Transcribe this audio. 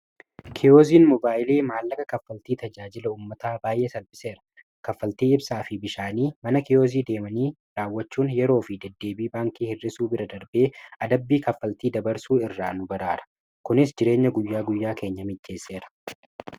kiyooziin mobaayilii maallaka kaffaltii tajaajila ummataa baay'ee salbiseera kaffaltii ibsaa fi bishaanii mana kiyoozii deemanii raawwachuun yeroo fi deddeebii baankii hirrisuu bira darbee adabbii kaffaltii dabarsuu irraa nu baraara kunis jireenya guyyaa guyyaa keenya mijjeesseera